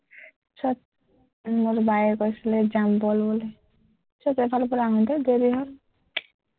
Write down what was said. মই বোলো বায়ে কৈছিলে বল যাম বুলি, ঠিক আছে এফালৰপৰা আহোঁগে দেৰি হক